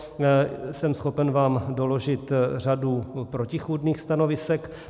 Jsem schopen vám doložit řadu protichůdných stanovisek.